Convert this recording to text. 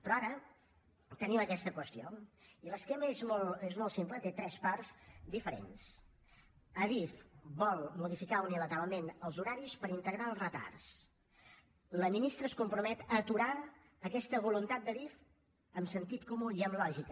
però ara tenim aquesta qüestió i l’esquema és molt simple té tres parts diferents adif vol modificar unilateralment els horaris per integrar els retards la ministra es compromet a aturar aquesta voluntat d’adif amb sentit comú i amb lògica